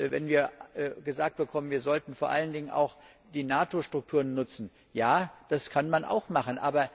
Wenn wir gesagt bekommen, wir sollten vor allen Dingen auch die NATO Strukturen nutzen ja, das kann man auch machen.